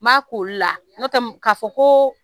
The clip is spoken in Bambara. N b'a k'olu la n'o tɛ k'a fɔ ko